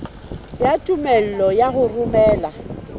ya tumello ya ho romela